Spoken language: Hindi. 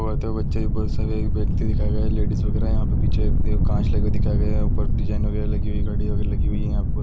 बहुत सारे बच्चे बहुत एक व्यक्ति दिखाई दे रहा है लेडिज वागेरा है यहा पर पीछे एक कांच लगा हुआ दिखाई दे रहा है उपर डिजाइन वगैरा लगी हुई घड़ी वागेरा लगी हुई है यहाँ पर ।